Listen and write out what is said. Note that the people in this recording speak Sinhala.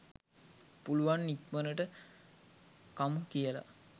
පුළුවන් ඉක්මනට කමු කියල